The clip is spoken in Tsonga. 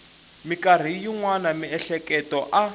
mikarhi yin wana miehleketo a